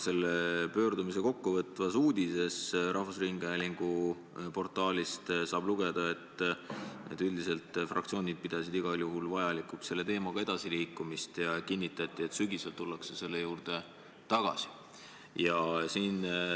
Seda pöördumist kokkuvõtvast uudisest rahvusringhäälingu portaalis saab lugeda, et üldiselt pidasid fraktsioonid igal juhul vajalikuks selle teemaga edasiliikumist ja kinnitati, et sügisel tullakse selle juurde tagasi.